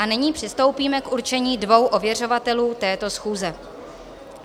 A nyní přistoupíme k určení dvou ověřovatelů této schůze.